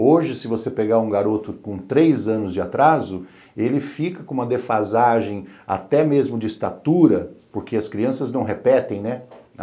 Hoje, se você pegar um garoto com três anos de atraso, ele fica com uma defasagem até mesmo de estatura, porque as crianças não repetem, né?